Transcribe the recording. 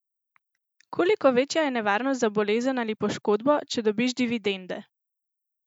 Koliko večja je nevarnost za bolezen ali poškodbo, če dobiš dividende?